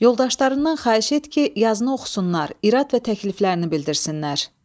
Yoldaşlarından xahiş et ki, yazını oxusunlar, irad və təkliflərini bildirsinlər.